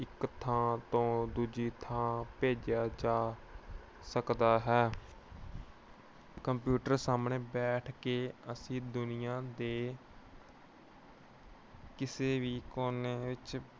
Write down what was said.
ਇੱਕ ਥਾਂ ਤੋਂ ਦੂਜੀ ਥਾਂ ਭੇਜਿਆ ਜਾ ਸਕਦਾ ਹੈ। computer ਸਾਹਮਣੇ ਬੈਠ ਕੇ ਅਸੀਂ ਦੁਨੀਆਂ ਦੇ ਕਿਸੇ ਵੀ ਕੋਨੇ ਵਿੱਚ